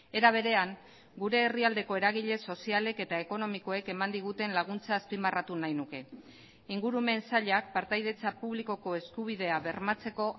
era berean gure herrialdeko eragile sozialek eta ekonomikoek eman diguten laguntza azpimarratu nahi nuke ingurumen sailak partaidetza publikoko eskubidea bermatzeko